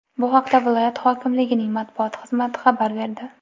Bu haqda viloyat hokimligining matbuot xizmati xabar berdi .